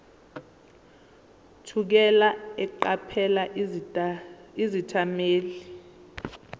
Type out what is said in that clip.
thukela eqaphela izethameli